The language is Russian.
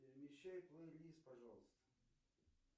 перемещай плейлист пожалуйста